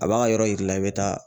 A b'a ka yɔrɔ yir'i la i bɛ taa